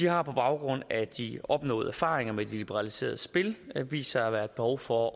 har på baggrund af de opnåede erfaringer med de liberaliserede spil vist sig at være behov for